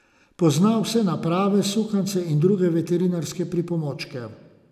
Pozna vse naprave, sukance in druge veterinarske pripomočke.